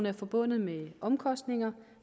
er forbundet med omkostninger